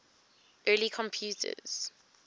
early computers